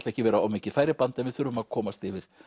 ekki vera of mikið færiband en við þurfum að komast yfir